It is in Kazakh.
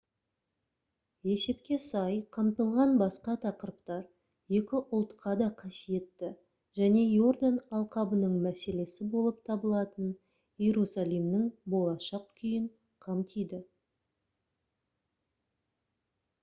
есепке сай қамтылған басқа тақырыптар екі ұлтқа да қасиетті және йордан алқабының мәселесі болып табылатын иерусалимнің болашақ күйін қамтиды